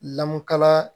Lamɔkala